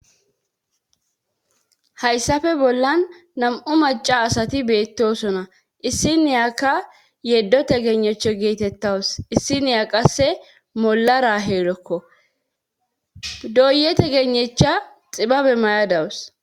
Hayssafe bollan nam7u maca asati beettosona issi niyaka yeddo tegenecho geetettawus issiniya qasse molara heedokko doye tegenecha xibabe mayadawus